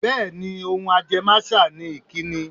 Bẹ́ẹ̀ ni, ohun ajẹ́máṣà ni ìkíni.